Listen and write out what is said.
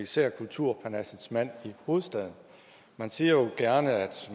især kulturparnassets mand i hovedstaden man siger jo gerne at